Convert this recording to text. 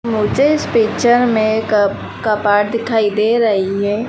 मुझे इस पिक्चर में कब कपाट दिखाई दे रही है।